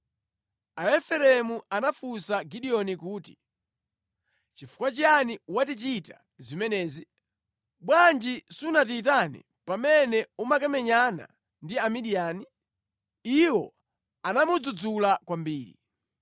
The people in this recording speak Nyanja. Aefereimu anafunsa Gideoni kuti, “Nʼchifukwa chiyani watichita zimenezi? Bwanji sunatiyitane pamene umakamenyana ndi Amidiyani?” Iwo anamudzudzula kwambiri.